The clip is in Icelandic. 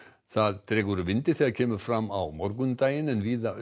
það dregur úr vindi þegar kemur fram á morgundaginn en víða